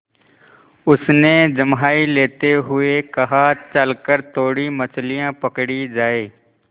उसने जम्हाई लेते हुए कहा चल कर थोड़ी मछलियाँ पकड़ी जाएँ